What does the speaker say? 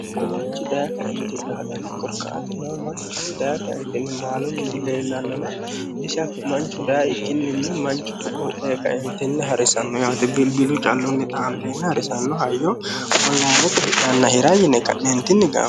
Ko manchi daaye kaentinni xaadano daaye kaentinni maalunni dileellanonna kayyinni dayikkini ko'o heerenna online xaandenna hidhinanni hayyote dikkowa gaamanni.